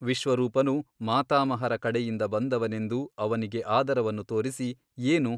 ವಿಶ್ವರೂಪನು ಮಾತಾಮಹರ ಕಡೆಯಿಂದ ಬಂದವನೆಂದು ಅವನಿಗೆ ಆದರವನ್ನು ತೋರಿಸಿ ಏನು ?